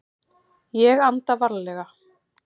Ég anda varlega.